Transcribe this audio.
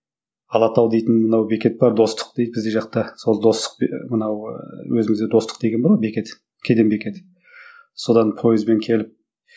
алатау дейтін мынау бекет бар достық дейді біздің жақта сол достық ы мынау ы өзімізде достық деген бар ғой бекет кеден бекеті содан пойызбен келіп